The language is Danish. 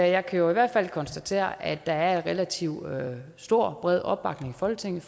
jeg kan i hvert fald konstatere at der er en relativt stor og bred opbakning i folketinget